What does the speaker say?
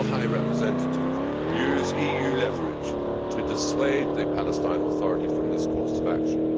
Will the High Representative Vice President use EU leverage to dissuade the Palestine Authority from this course of action?